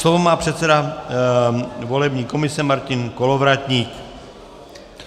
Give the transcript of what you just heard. Slovo má předseda volební komise Martin Kolovratník.